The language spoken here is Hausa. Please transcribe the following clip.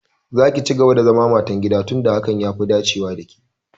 Za ki cigaba da zaman matan gida tun da hakan ya fi dacewa da ke!